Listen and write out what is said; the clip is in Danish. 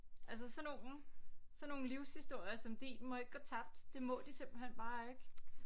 Altså sådan nogle sådan nogle livshistorier som din må ikke gå tabt det må de simpelthen bare ikke